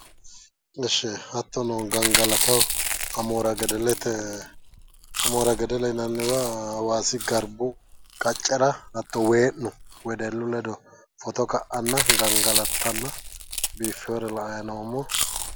Ishshi hattono gangalataho amoora gedelete amoora gedele yinanniwa hawaasi garbu qaccera hatto wee'nuno wedellu ledo foto ka"anna gangalattanna biiffiwore la"ayi noommo.